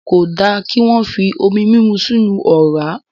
Kò da kí wọ́n fi omi múmu sínu ọ̀rá.